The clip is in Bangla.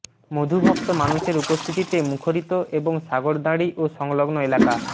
মধুভক্ত মানুষের উপস্থিতিতে মুখরিত এখন সাগরদাঁড়ী ও সংলগ্ন এলাকা